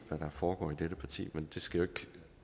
hvad der foregår i dette parti men det skal